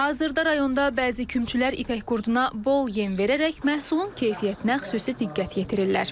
Hazırda rayonda bəzi kümçülər ipəkqurduna bol yem verərək məhsulun keyfiyyətinə xüsusi diqqət yetirirlər.